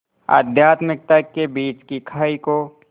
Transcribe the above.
आध्यात्मिकता के बीच की खाई को